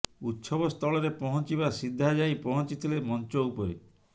ଉତ୍ସବ ସ୍ଥଳରେ ପହଞ୍ଚିବା ସିଧା ଯାଇ ପହଞ୍ଛିଥିଲେ ମଞ୍ଚ ଉପରେ